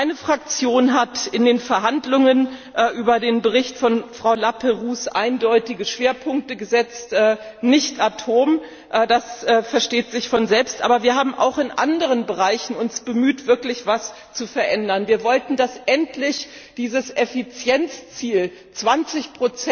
Meine Fraktion hat in den Verhandlungen über den Bericht von Frau Laperrouze eindeutige Schwerpunkte gesetzt nicht Atom, das versteht sich von selbst. Aber wir haben uns auch in anderen Bereichen bemüht, wirklich etwas zu verändern. Wir wollten, dass dieses Effizienzziel, 20